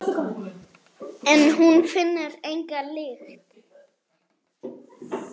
En hún finnur enga lykt.